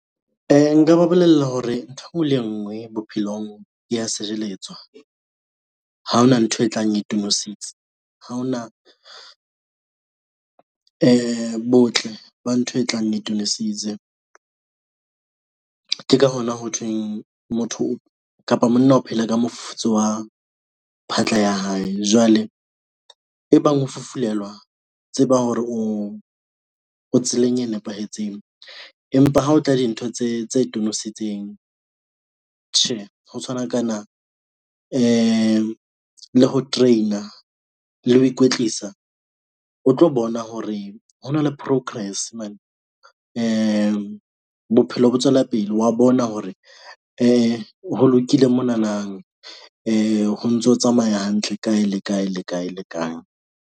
Nka ba bolella hore ntho engwe le ngwe bophelong e ya sebeletswa ha hona ntho e tlang e tonositse ha hona botle ba ntho e tlang e tonositse ke ka hona ho thweng motho kapa monna o phela ka mofufutso wa phatla ya hae. Jwale e bang ho fufulelwa tseba hore o tseleng e nepahetseng, empa ha o tla dintho tse tse tonosetsing. Tjhe, ho tshwanakana le ho train-a le ho ikwetlisa o tlo bona hore ho na le progress mane bophelo bo tswela pele wa bona hore ho lokile monana ho ntso tsamaya hantle kae le kae le kae.